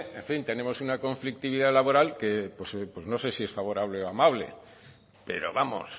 en fin tenemos una conflictividad laboral que no sé si es favorable o amable pero vamos